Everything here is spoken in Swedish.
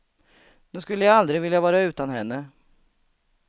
Nu skulle jag aldrig vilja vara utan henne.